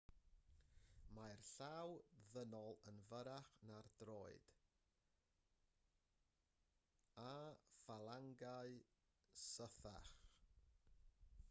mae'r llaw ddynol yn fyrrach na'r droed â ffalangau sythach